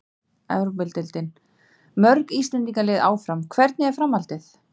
Evrópudeildin: Mörg Íslendingalið áfram- Hvernig er framhaldið?